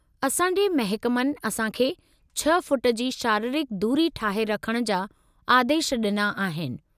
असां जे महकमनि असां खे छह फुट जी शारीरिक दूरी ठाहे रखण जा आदेश ॾिना आहिनि।